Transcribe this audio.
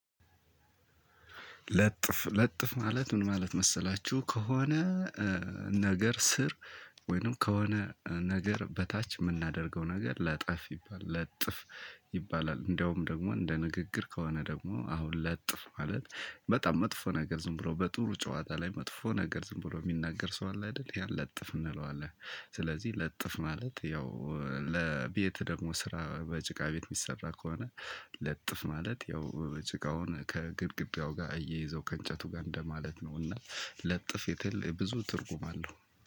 ለጥፍ ለጥፍ ማለት ምን ማለት መሰላችሁ ከሆነ ነገር ስር ወይንም ከሆነ ነገር በታች የምናደርገው ነገር ለጠፍ ይባላል። ለጥፍ ይባላል። እንደውም ደግሞ እንደ ንግግር ከሆነ ደግሞ አሁን ለጥፍ ማለት በጣም መጥፎ ነገር ዝም ብሎ በጥሩ ጨዋታ ላይ መጥፎ ነገር ዝም ብሎ የሚናገር ሰው አለ አይደል ያን ለጥፍ እንለዋለን። ስለዚህ ለጥፍ ማለት ያው ለቤት ደግሞ ስራ በጭቃ ቤት የሚሰራ ከሆነ። ለጥፍ ማለት ያው ጭቃውን ከግድግዳው ጋር አያይዘው ከእንጨቱ ጋር እንደማለት ነው። እና ለጥፍ የተለየ ብዙ ትርጉም አለው።